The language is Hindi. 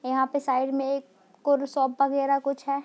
यहां पे साइड में एक कुर शॉप वगैरा कुछ है।